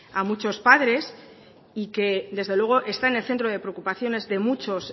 a muchos padres y que desde luego está en el centro de preocupaciones de muchos